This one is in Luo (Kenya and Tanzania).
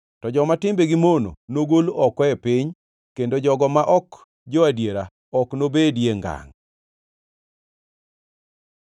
to joma timbegi mono nogol oko e piny kendo jogo ma ok jo-adiera ok nobedie ngangʼ.